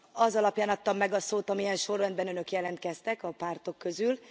Az alapján adtam meg a szót, amilyen sorrendben Önök jelentkeztek a pártok közül.